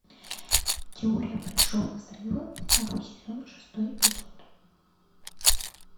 теория большого взрыва второй сезон шестой эпизод